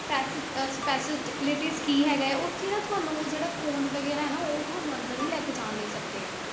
Special ਅਹ special ਤੇ latest ਕੀ ਹੈਗਾ ਹੈ ਉੱਥੇ ਨਾ ਤੁਹਾਨੂੰ ਉਹ ਜਿਹੜਾ phone ਵਗ਼ੈਰਾ ਹੈ ਨਾ ਉਹ ਤੁਹਾਨੂੰ ਅੰਦਰ ਨੀ ਲੈ ਕੇ ਜਾਣ ਦੇ ਸਕਦੇ ਹੈ,